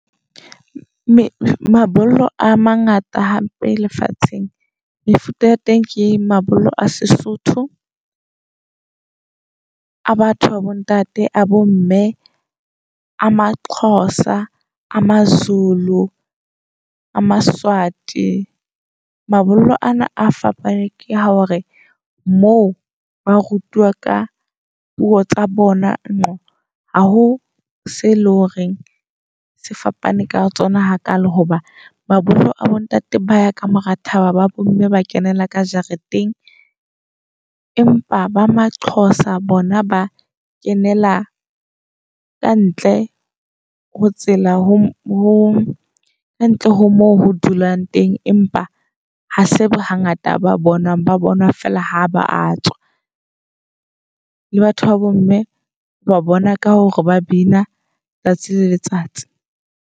Mabollo a mangata hampe lefatsheng. Mefuta ya teng ke mabollo a Sesotho, a batho ba bo ntate, a bo mme. A maXhosa, a maZulu, a maSwati. Mabollo ana a fapane ke a hore moo ba rutuwa ka puo tsa bona nqo, ha ho se leng hore se fapane ka tsona hakalo. Hoba mabollo a bo ntate ba ya ka mora thaba, ba bomme ba kenela ka jareteng. Empa ba maXhosa bona ba kenela kantle ho tsela ho kantle ho mo ho dulwang teng. Empa ha se hangata ba bonwang ba bonwa fela ha ba a tswa. Le batho babo mme o ba bona ka hore ba bina tsatsi le letsatsi.